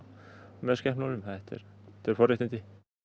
með skepnunum þetta eru forréttindi